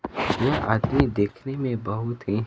ये आदमी देखने में बहुत ही--